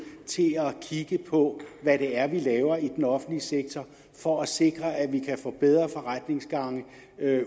til at kigge på hvad det er vi laver i den offentlige sektor for at sikre at vi kan få bedre forretningsgange